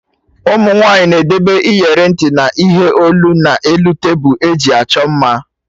Ụmụ nwaanyị na-edebe iyeri ntị na ihe olu na elu tebụl eji achọ mma